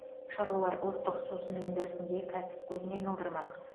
шаруалар ұлттық сусын өндірісін де кәсіп көзіне айналдырмақ